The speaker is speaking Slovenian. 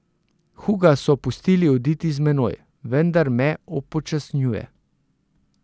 Huga so pustili oditi z menoj, vendar me upočasnjuje.